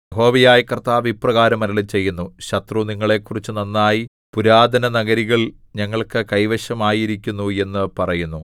യഹോവയായ കർത്താവ് ഇപ്രകാരം അരുളിച്ചെയ്യുന്നു ശത്രു നിങ്ങളെക്കുറിച്ച് നന്നായി പുരാതനഗിരികൾ ഞങ്ങൾക്കു കൈവശം ആയിരിക്കുന്നു എന്നു പറയുന്നു